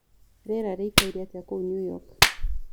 rĩera rĩĩkaĩre atĩa kũu new york